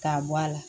K'a bɔ a la